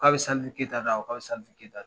K'a bɛ Salifu Kayita dɔn a ko k'a bɛ Salifu Kayita dɔn